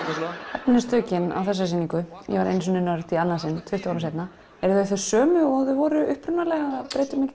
efnistökin á þessari sýningu ég var einu sinni í annað sinn tuttugu árum seinna eru þau þau sömu og þau voru upprunalega eða breytirðu